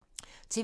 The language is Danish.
TV 2